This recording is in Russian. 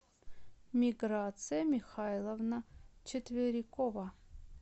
миграция михайловна четверякова